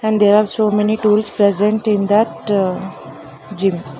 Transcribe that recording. There are so many tools present in that gym.